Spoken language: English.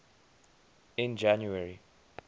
in january